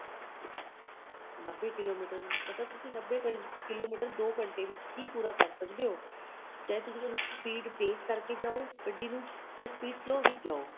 ਨੱਬੇ ਕਿਲੋਮੀਟਰ ਮਤਲਬ ਤੁਸੀਂ ਨੱਬੇ ਕਿਲੋਮੀਟਰ ਦੋ ਘੰਟੇ ਵਿੱਚ ਹੀ ਪੂਰਾ ਕਰ ਸਕਦੇ ਹੋ ਚਾਹੇ speed ਤੇਜ ਕਰਕੇ ਜਾਓ ਗੱਡੀ ਨੂੰ ਜਾਂ speed slow ਵਿੱਚ ਜਾਓ